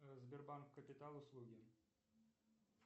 сбербанк капитал услуги